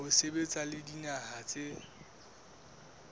ho sebetsa le dinaha tse